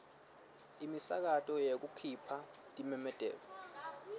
imisakato yekukhipha timemetelo